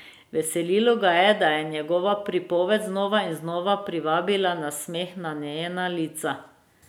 Veselilo ga je, da je njegova pripoved znova in znova privabila nasmeh na njena lica.